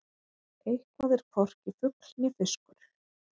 Eitthvað er hvorki fugl né fiskur